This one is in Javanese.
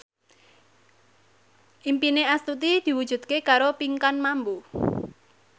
impine Astuti diwujudke karo Pinkan Mambo